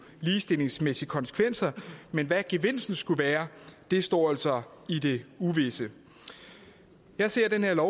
ligestillingsmæssige konsekvenser men hvad gevinsten skulle være står altså i det uvisse jeg ser det her